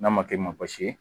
N'a ma kɛ i ma baasi ye